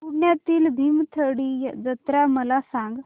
पुण्यातील भीमथडी जत्रा मला सांग